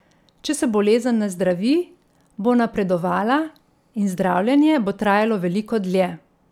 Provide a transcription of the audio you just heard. Če se bolezen ne zdravi, bo napredovala in zdravljenje bo trajalo veliko dlje.